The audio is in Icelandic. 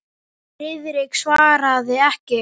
Friðrik svaraði ekki.